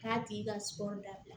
K'a tigi ka sɔ labila